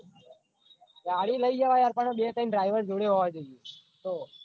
ગાડી લઇ જવાય પણ બે ત્રણ driver જોડે હોવા જોઈએ તો